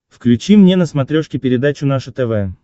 включи мне на смотрешке передачу наше тв